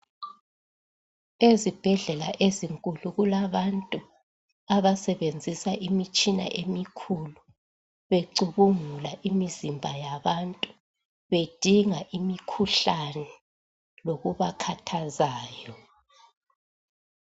Ezibhedlela ezinkulu kulabantu abasebenzisa imitshina emikhulu becubungula imizimba yabantu bedinga imikhuhlane lokubakhathazayo.